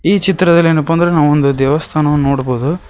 ಈ ಚಿತ್ರದಲ್ಲಿ ಏನಪ್ಪಾ ಅಂದ್ರೆ ನಾವು ಒಂದು ದೇವಸ್ಥಾನವನ್ನು ನೋಡಬಹುದು.